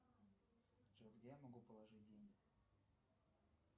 джой где я могу положить деньги